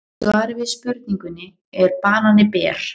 Í svari við spurningunni Er banani ber?